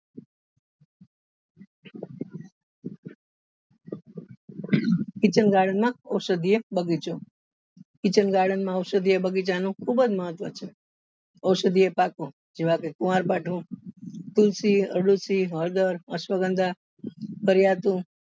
kitchen garden માં ઔષધીય બગીચો kitchen garden ઔષધીય બગીચા નું ખુબ જ મહત્વ છે ઔષધીય પાકો જેવા કે કુવારપાઠું તુલસી અરડૂસી હળદર અશ્વગંધા